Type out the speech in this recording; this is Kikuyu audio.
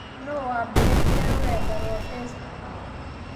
Nũũ waambĩrĩirie rũrenda rwa Facebook?